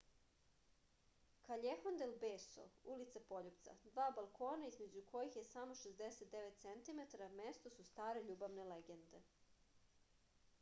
каљехон дел бесо улица пољупца. два балкона између којих је само 69 центиметара место су старе љубавне легенде